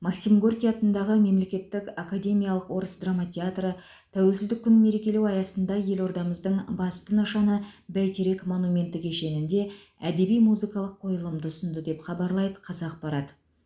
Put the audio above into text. максим горький атындағы мемлекеттік академиялық орыс драма театры тәуелсіздік күнін мерекелеу аясында елордамыздың басты нышаны бәйтерек монументі кешенінде әдеби музыкалық қойылымды ұсынды деп хабарлайды қазақпарат